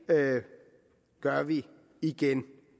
gør vi igen